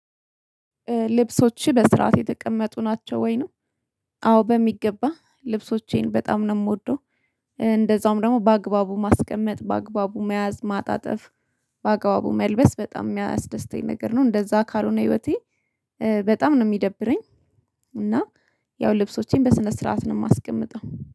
ልብሶችህ በስርዓት የተቀመጡ ናቸው ወይ? ነው አዎ በሚገባ ልብሶቼን በጣም ነው የምወደው። እንደዛውም ደግሞ በአግባቡ ማስቀመጥ በአግባቡ መያዝ ማጣጠፍ በአግባቡ መልበስ በጣም የሚያስደስተኝ ነገር ነው። እንደዚያ ካልሆነ ህይወቴ በጣም ነው የሚደብረኝ። እና ያው ልብሶቼን በስነ ስርዓት ነው የማስቀምጠው